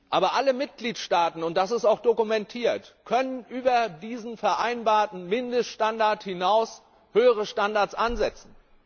Aber alle Mitgliedstaaten, und das ist auch dokumentiert, können über diesen vereinbarten Mindeststandard hinaus höhere Standards ansetzen.